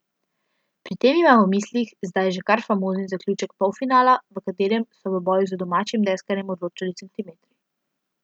Pri tem ima v mislih zdaj že kar famozni zaključek polfinala, v katerem so v boju z domačim deskarjem odločali centimetri.